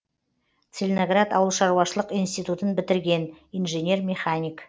целиноград ауылшаруашылық институтын бітірген инженер механик